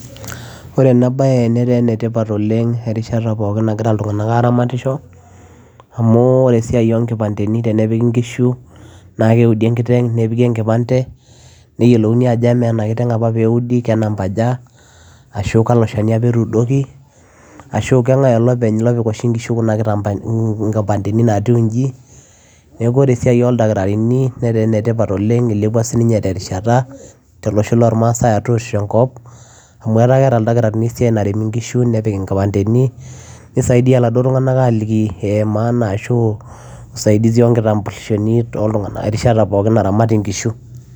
Ore ena baye netaa enatipat oleng' erishata pookin nagirra iltung'anak aaramatisho amu ore esiai oonkipandeni tenepiki nkishu naa keudi enkiteng' nepiki enkipande neyiolouni ajo kamaa apa ena kiteng' pee eudi ke namba aja ashu kalo shani apa etuudoki ashu kang'e olopeny opik oshi nkishu kuna kipandeni naatiu inji neeku ore esiai oldakitarini netaa enetipat oleng' ilepua sininye terishata tolosho lormaasai atua oshi enkop amu ketaa keeta ildakitarini esiai narem nkishu nepik nkipandeni nisaidia iladuo tung'anak aaliki ee maana ashu usaidizi onkitambulishoni toltung'anak erishata pookin naramati nkishu.